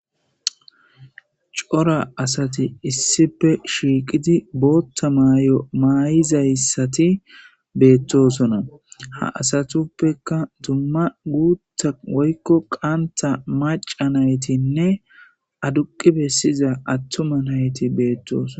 Cora asati issife shiiqidi bootta maayo maayizayssati beettosona ha asatuppeka dumma guutta woykko qanta maca naytinne aduqi bessiza attuma nayti beettoosoona